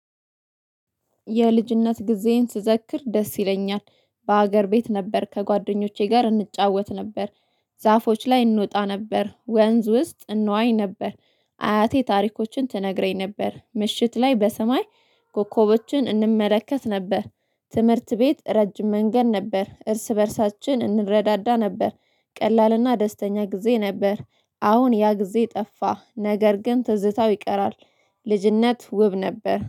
የልጅነት ጊዜዬን ስዘክር ደስ ይለኛል በሀገር ቤት ነበር ከጓደኞቼ ጋር እንጫወት ነበር። ዛፎች ላይ እንወጣ ነበር ወንዝ ውስጥ እንዋኝ ነበር። አያቴ ታሪኮችን ትነግረኝ ነበር ምሽት ላይ በሰማይ ኮኮቦችን እንመለከት ነበር። ትምህርት ቤት ረጅም መንገድ ነበር እርስ በእርሳችን እንረዳዳ ነበር። ቀላልና ደስተኛ ጊዜ ነበር። አሁን ያ ጊዜ ጠፋ ነገር ግን ትዝታው ይቀራል። ልጅነት ውብ ነበር